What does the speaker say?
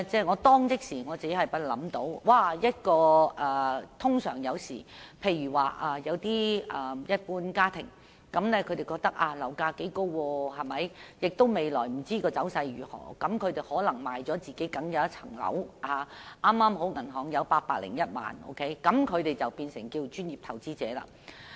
我當時立即想到，一般家庭若感到樓價頗高，又不知未來走勢如何，便可能會出售名下僅有的單位，令銀行存款剛好有801萬元，於是便可成為專業投資者。